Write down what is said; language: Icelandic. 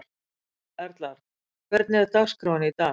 Erlar, hvernig er dagskráin í dag?